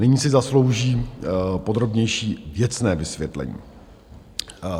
Nyní si zaslouží podrobnější věcné vysvětlení.